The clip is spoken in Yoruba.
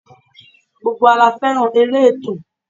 Gbogbo wa la fẹ́ràn eré ìtàn.